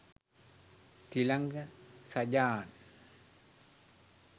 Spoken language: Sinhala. තිලංග සජාන්!